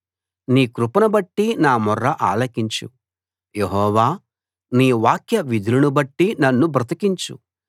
నీ కృపను బట్టి నా మొర్ర ఆలకించు యెహోవా నీ వాక్యవిధులనుబట్టి నన్ను బ్రతికించు